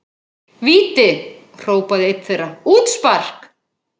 Víti! hrópaði einn þeirra, útspark!